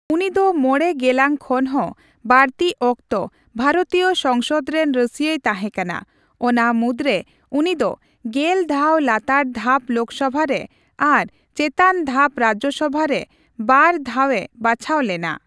ᱩᱱᱤ ᱫᱚ ᱢᱚᱬᱮ ᱜᱮᱞᱟᱝ ᱠᱷᱚᱱ ᱦᱚᱸ ᱵᱟᱲᱛᱤ ᱚᱠᱛᱚ ᱵᱷᱟᱨᱚᱛᱤᱭᱚ ᱥᱚᱝᱥᱚᱫᱽ ᱨᱮᱱ ᱨᱟᱹᱥᱭᱟᱹᱭ ᱛᱟᱦᱮ ᱠᱟᱱᱟ, ᱚᱱᱟ ᱢᱩᱫᱽᱨᱮ ᱩᱱᱤ ᱫᱚ ᱜᱮᱞ ᱫᱷᱟᱣ ᱞᱟᱛᱟᱨ ᱫᱷᱟᱯ ᱞᱳᱠᱥᱚᱵᱷᱟ ᱨᱮ ᱟᱨ ᱪᱮᱛᱟᱱ ᱫᱷᱟᱯ ᱨᱟᱡᱡᱚᱥᱚᱵᱷᱟ ᱨᱮ ᱵᱟᱨ ᱫᱷᱟᱣ ᱮ ᱵᱟᱪᱷᱟᱣ ᱞᱮᱱᱟ ᱾